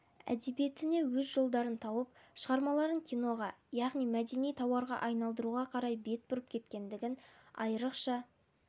әдебиетіне өз жолдарын тауып шығармаларын киноға яғни мәдени тауарға айналдыруға қарай бет бұрып кеткендігін айырықша